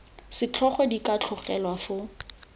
setlhogo di ka tlogelwa foo